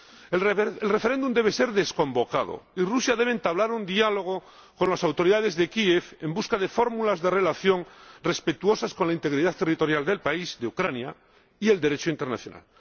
El referéndum debe ser desconvocado y Rusia debe entablar un diálogo con las autoridades de Kiev en busca de fórmulas de relación respetuosas con la integridad territorial del país —de Ucrania— y el Derecho internacional.